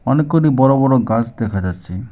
অনেককটি বড় বড় গাস দেখা যাচ্ছে।